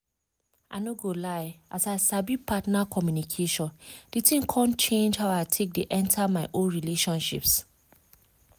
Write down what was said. i no go lie as i sabi partner communication the thing come change how i take dey enter my own relationships